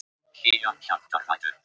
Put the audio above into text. Hlýjar hjartarætur.